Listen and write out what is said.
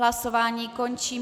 Hlasování končím.